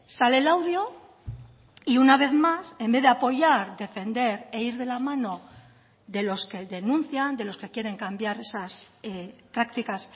sale el audio y una vez más en vez de apoyar defender e ir de la mano de los que denuncian de los que quieren cambiar esas prácticas